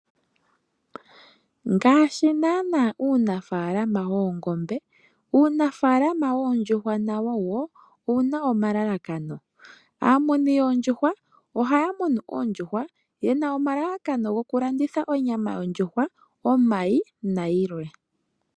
Ngaashi naana uunafaalama woongombe, uunafaalama woondjuhwa nawo owu na wo omalalakano. Aamuni yoondjuhwa ohaya munu oondjuhwa nelalakano lyoku landitha onyama yondjuhwa, omayi nayilwe.